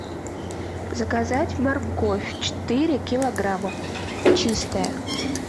заказать морковь четыре килограмма чистая